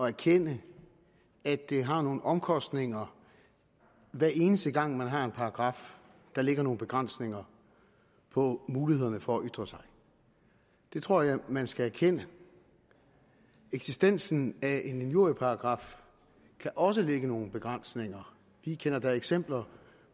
erkende at det har nogle omkostninger hver eneste gang man har en paragraf der lægger nogle begrænsninger på mulighederne for at ytre sig det tror jeg man skal erkende eksistensen af en injurieparagraf kan også lægge nogle begrænsninger vi kender da eksempler